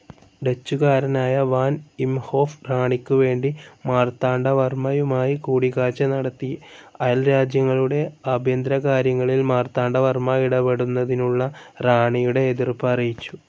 ഡച്ചുകാരനായ van Imhoff റാണിക്കുവേണ്ടി മാർത്താണ്ഡവർമ്മയുമായി കൂടിക്കാഴ്ച്ച നടത്തി അയൽരാജ്യങ്ങളുടെ ആഭ്യന്തരകാര്യങ്ങളിൽ മാർത്താണ്ഡവർമ്മ ഇടപെടുന്നതിനുള്ള റാണിയുടെ എതിർപ്പ് അറിയിച്ചു.